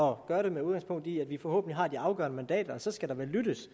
og gøre det med udgangspunkt i at vi forhåbentlig har de afgørende mandater og så skal der vel lyttes